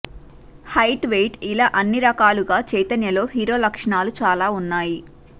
height weight ఇలా అన్ని రకాలుగా చైతన్యలో హీరో లక్షణాలు చాలా ఉన్నాయి